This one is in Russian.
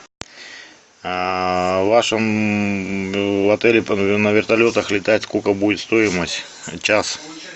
в вашем отеле на вертолетах летать сколько будет стоимость час